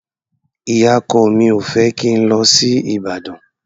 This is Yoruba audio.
Ìyá-ọkọ mi ò fẹ́ kí n lọ sí Ìbàdàn.